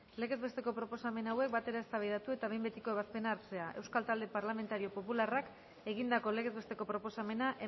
legez besteko proposamen hauek batera eztabaidatu eta behin betiko ebazpena hartzea euskal talde parlamentario popularrak egindako legez besteko proposamena